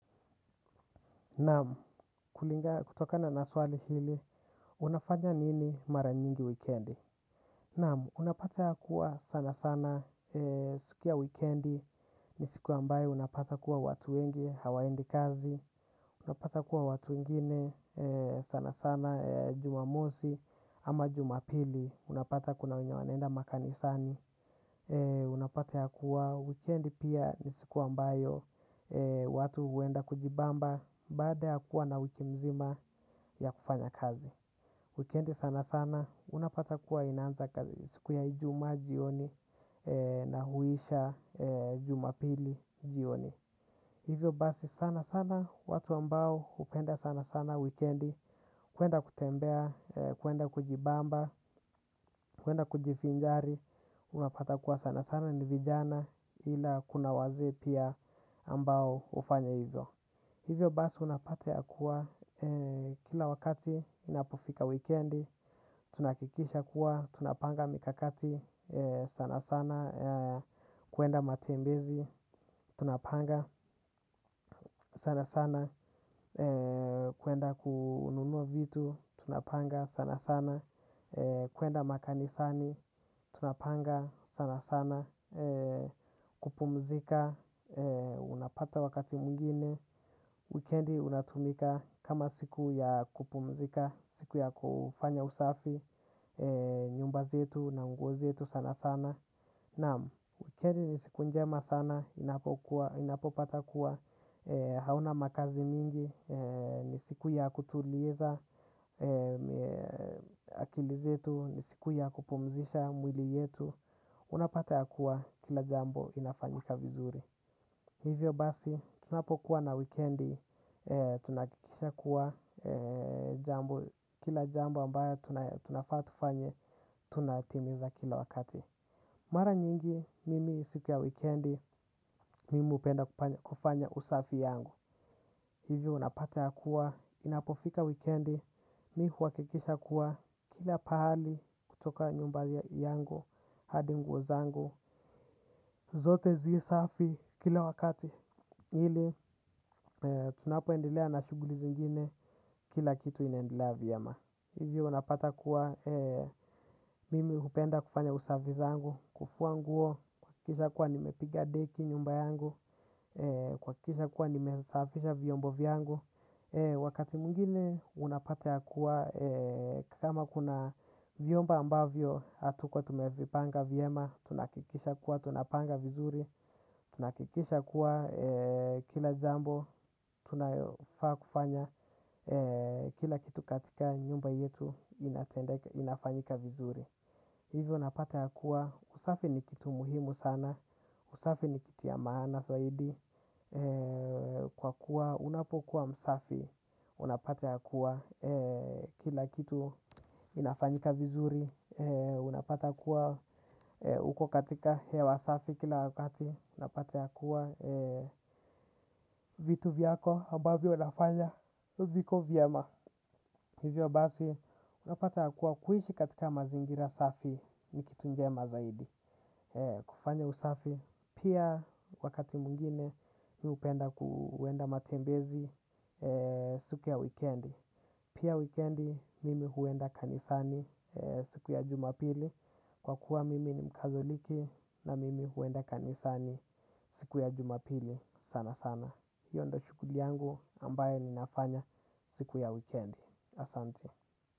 Nam, kulingana, kutokana na swali hili, unafanya nini mara nyingi wikendi? Nam, unapata ya kuwa sana sana, siku ya wikendi, ni siku ambayo unapata kuwa watu wengi, hawaendi kazi, unapata kuwa watu wengine, sana sana, jumamosi, ama jumapili, unapata kuna wenye wanaenda makanisani, unapata ya kuwa wikendi pia ni siku ambayo, watu huenda kujibamba. Baada ya kuwa na wiki mzima ya kufanya kazi. Wikendi sana sana. Unapata kuwa inanza kazi. Siku ya ijuma jioni na huisha jumapili jioni. Hivyo basi sana sana. Watu ambao hupenda sana sana Wikendi. Kuenda kutembea. Kuenda kujibamba. Kuenda kujivinjari. Unapata kuwa sana sana ni vijana ila kuna wazee pia ambao hufanya hivyo. Hivyo basi unapata ya kuwa, kila wakati inapofika wikendi, tunahakikisha kuwa, tunapanga mikakati sana sana, kuenda matembezi, tunapanga sana sana, kuenda kununua vitu, tunapanga sana sana, kuenda makanisani, tunapanga sana sana, kupumzika, unapata wakati mwingine. Wikendi unatumika kama siku ya kupumzika, siku ya kufanya usafi, nyumba zetu na nguo zetu sana sana. Nam, wikendi ni siku njema sana, inapopata kuwa hauna makazi mingi, ni siku ya kutuliza akili zetu, ni siku ya kupumzisha mwili yetu. Unapata ya kuwa kila jambo inafanyika vizuri. Hivyo basi, tunapokuwa na wikendi, tunahakikisha kuwa jambo, kila jambo ambayo tunafaa tufanye, tunatimiza kila wakati. Mara nyingi, mimi siku ya wikendi, mimi hupenda kufanya usafi yangu. Hivyo unapata ya kuwa, inapofika wikendi, mi huhakikisha kuwa kila pahali kutoka nyumba yangu, hadi nguo zangu. Zote zii safi kila wakati ili tunapoendelea na shuguli zingine kila kitu inaendelea vyema. Hivyo unapata kuwa mimi hupenda kufanya usafi zangu, kufua nguo, kuhakikisha kuwa nimepiga deki nyumba yangu, kuhakikisha kuwa nimesafisha vyombo vyangu. Wakati mwingine unapata ya kuwa kama kuna vyombo ambavyo hatukuwa tumevipanga vyema. Tunahakikisha kuwa tunapanga vizuri. Tunakikisha kuwa kila jambo tunafaa kufanya kila kitu katika nyumba yetu inafanyika vizuri. Hivyo unapata ya kuwa usafi ni kitu muhimu sana. Usafi ni kitu ya maana zaidi. Kwa kuwa unapokuwa msafi. Unapata ya kuwa kila kitu kinafanyika vizuri. Unapata ya kuwa uko katika hewa safi kila wakati. Unapata ya kuwa vitu vyako ambavyo nafanya viko vyama. Hivyo basi unapata ya kuwa kuishi katika mazingira safi ni kitu njema zaidi. Kufanya usafi pia wakati mwingine. Mi hupenda kuenda matembezi siku ya wikendi. Pia wikendi mimi huenda kanisani siku ya jumapili. Kwa kuwa mimi ni mkazoliki na mimi huenda kanisani siku ya jumapili. Sana sana. Hiyo ndo shuguli yangu ambayo ninafanya siku ya weekend. Asante.